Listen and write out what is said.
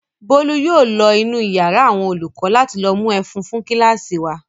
Bólú yóò lọ inú ìyàrá àwọn olùkọ́ láti lọ mú ẹ̀fún fún kíláàsì wa.